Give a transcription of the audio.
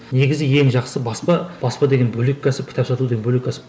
негізгі ең жақсы баспа баспа деген бөлек кәсіп кітап сату деген бөлек кәсіп